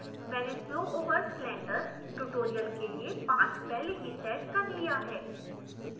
मैंने flow over cylinder tutorial के लिए path पहले ही सेट कर लिया है